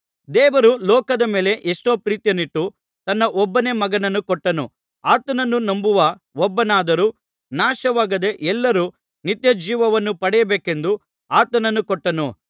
ದೇವರು ಲೋಕದ ಮೇಲೆ ಎಷ್ಟೋ ಪ್ರೀತಿಯನ್ನಿಟ್ಟು ತನ್ನ ಒಬ್ಬನೇ ಮಗನನ್ನು ಕೊಟ್ಟನು ಆತನನ್ನು ನಂಬುವ ಒಬ್ಬನಾದರೂ ನಾಶವಾಗದೆ ಎಲ್ಲರೂ ನಿತ್ಯಜೀವವನ್ನು ಪಡೆಯಬೇಕೆಂದು ಆತನನ್ನು ಕೊಟ್ಟನು